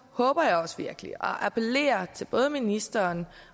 håber jeg også virkelig og appellerer til både ministeren